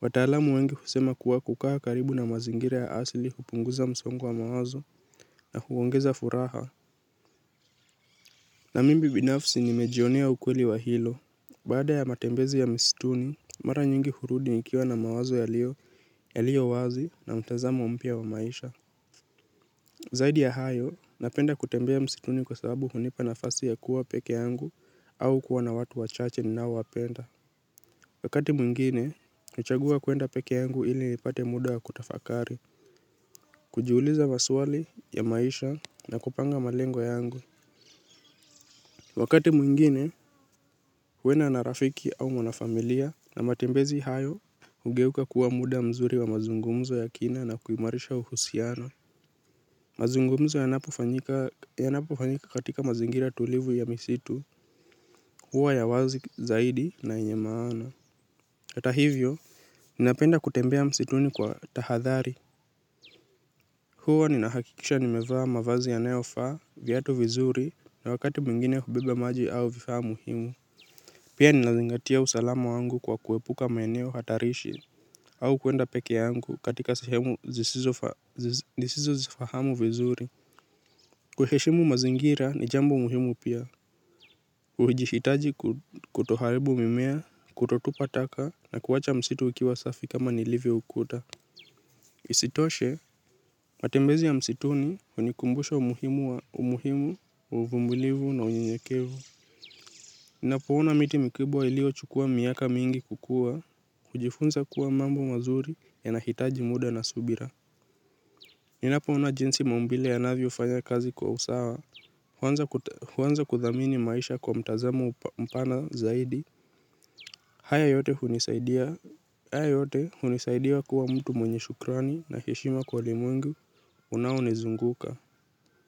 wataalamu wengi husema kuwa kukaa karibu na mazingira ya asili hupunguza msongo wa mawazo na huongeza furaha. Na mimi binafsi nimejionea ukweli wa hilo. Baada ya matembezi ya msituni, mara nyingi hurudi nikiwa na mawazo yalio, yalio wazi na mtazamo mpya wa maisha. Zaidi ya hayo, napenda kutembea msituni kwa sababu hunipa nafasi ya kuwa peke yangu au kuwa na watu wachache ninaowapenda. Wakati mwingine, huchagua kuenda peke yangu ili nipate muda wa kutafakari. Kujiuliza maswali ya maisha na kupanga malengo yangu. Wakati mwingine, huenda na rafiki au mwana familia na matembezi hayo, hugeuka kuwa muda mzuri wa mazungumzo ya kina na kuimarisha uhusiano. Mazungumzo yanapofanyika katika mazingira tulivu ya misitu huwa ya wazi zaidi na yenye maana. Hata hivyo, ninapenda kutembea msituni kwa tahadhari. Huwa ninahakikisha nimevaa mavazi yanayofaa, viatu vizuri na wakati mwingine hubeba maji au vifaa muhimu. Pia ninazingatia usalama wangu kwa kuepuka maeneo hatarishi au kuenda peke yangu katika sahemu zisizo nisizozifahamu vizuri. Kuheshimu mazingira ni jambo muhimu pia. Ujishitaji kutoharibu mimea, kutotupa taka na kuwacha msitu ikiwa safi kama nilivyoukuta. Isitoshe, matembezi ya msituni hunikumbusha umuhimu, umuhimu, uvumilivu na unyenyekevu. Ninapouna miti mikibwa ilio chukua miaka mingi kukua. Kujifunza kuwa mambo mazuri yanahitaji muda na subira. Ninapoona jinsi mambile ya navi ufanya kazi kwa usawa huanza kuthamini maisha kwa mtazamo mpana zaidi. Haya yote hunisaidia kuwa mtu mwenye shukrani na heshima kwa ulimwengu unaonizunguka.